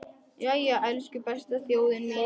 Jæja, elsku besta þjóðin mín!